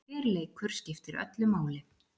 Hver leikur skiptir öllu máli.